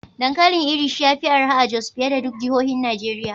Dankalin Irish ya fi arha a Jos fiye da duk jihohin Najeriya.